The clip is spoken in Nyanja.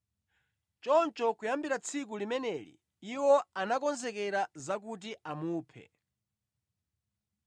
Choncho kuyambira tsiku limeneli iwo anakonzekera za kuti amuphe.